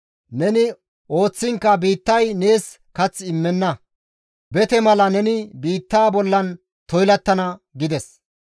Neni ooththiinkka biittay nees kath immenna; bete asa mala neni biitta bollan toylattana» gides.